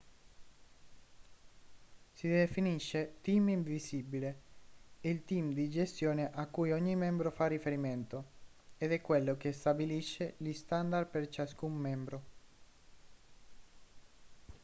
si definisce team invisibile il team di gestione a cui ogni membro fa riferimento ed è quello che stabilisce gli standard per ciascun membro